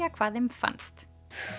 hvað þeim fannst